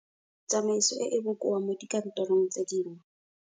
Tsamaiso e e bokoa mo dikantorong tse dingwe.